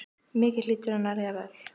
Mikið hlýtur henni að líða vel.